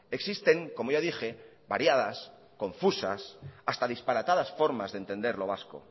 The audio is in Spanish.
existen como ya dije variadas confusas hasta disparatadas formas de entender lo vasco